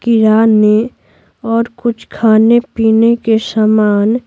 किराने और कुछ खाने-पीने के सामान --